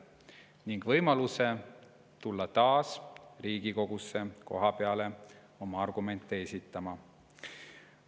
Neil on ka võimalus tulla Riigikogusse kohapeale oma argumente esitama.